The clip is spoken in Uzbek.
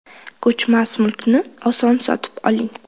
Ko‘chmas mulkni oson sotib oling!.